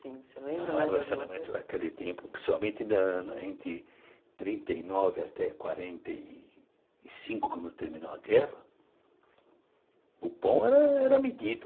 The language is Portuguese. Racionamento naquele tempo, principalmente na entre trinta e nove até quarenta e cinco, quando terminou a guerra, o pão era era medido.